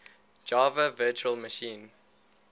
java virtual machine